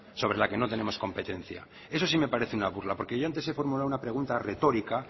sobre la que no tenemos competencia eso sí me parece una burla porque yo antes he formulado una pregunta retórica